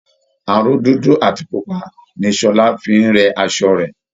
Aró dúdú àti pupa ni Ṣọlá fi ń rẹ asọ rẹ̀